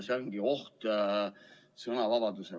See ongi oht sõnavabadusele.